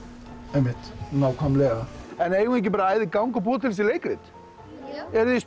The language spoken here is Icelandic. einmitt nákvæmlega en eigum við ekki bara að æða í gang og búa til þessi leikrit jú eruð þið